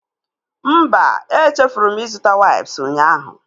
Mba, echefuru m ịzụta waips ụnyaahụ